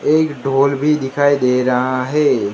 एक ढोल भी दिखाई दे रहा है।